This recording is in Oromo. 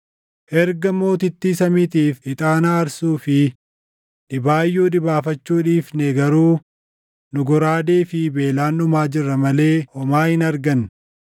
Erga Mootittii Samiitiif ixaana aarsuu fi dhibaayyuu dhibaafachuu dhiifne garuu nu goraadee fi beelaan dhumaa jirra malee homaa hin arganne.”